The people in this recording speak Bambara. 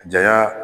Janya